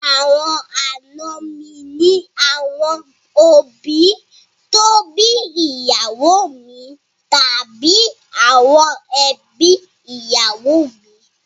Àwọn àna mi ní àwọn òbí tó bí ìyàwó mi tàbí àwọn èbí ìyàwó mi.